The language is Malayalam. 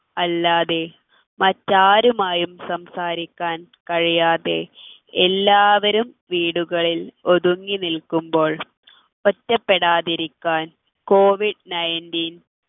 അല്ലാതെ മറ്റാരുമായും സംസാരിക്കാൻ കഴിയാതെ എല്ലാവരും വീടുകളിൽ ഒതുങ്ങി നിൽക്കുമ്പോൾ ഒറ്റപ്പെടാതിരിക്കാൻ covid nineteen